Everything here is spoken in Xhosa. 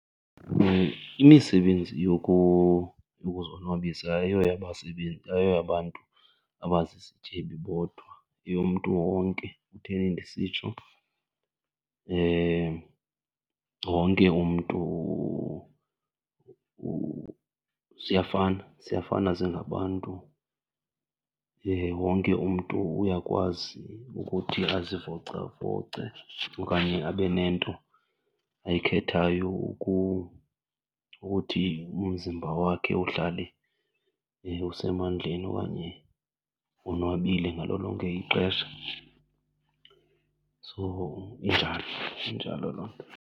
Imisebenzi yokuzonwabisa ayoyabantu abazizityebi bodwa yeyomntu wonke. Kutheni ndisitsho? Wonke umntu , siyafana, siyafana singabantu. Wonke umntu uyakwazi ukuthi azivocavoce okanye abe nento ayikhethayo ukuthi umzimba wakhe uhlale usemandleni okanye wonwabile ngalo lonke ixesha. So injalo, injalo loo nto.